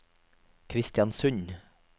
Kristiansund